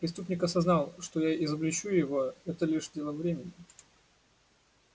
преступник осознал что я изобличу его это лишь дело времени